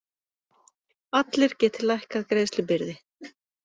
Allir geti lækkað greiðslubyrði